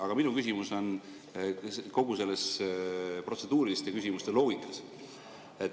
Aga minu küsimus on kogu selles protseduuriliste küsimuste loogikas.